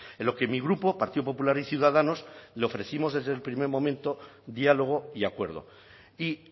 en lo que mi grupo partido popular y ciudadanos le ofrecimos desde el primer momento diálogo y acuerdo y